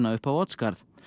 upp á Oddsskarð